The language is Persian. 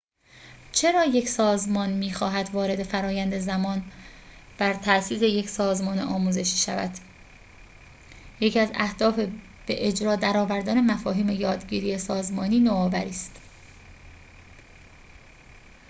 چرا یک سازمان می‌خواهد وارد فرآیند زمان‌بر تأسیس یک سازمان آموزشی شود یکی از اهداف به اجرا درآوردن مفاهیم یادگیری سازمانی نوآوری است